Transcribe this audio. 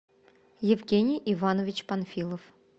евгений иванович панфилов